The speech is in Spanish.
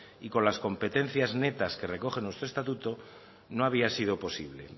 y con las competencias netas que recogen nuestro estatuto no había sido posible